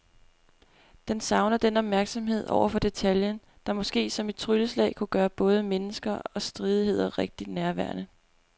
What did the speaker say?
Den savner den opmærksomhed over for detaljen, der måske som et trylleslag kunne gøre både mennesker og stridigheder rigtig nærværende.